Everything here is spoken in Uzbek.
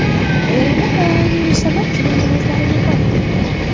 Eronda koronavirus sabab juma namozlari bekor qilindi.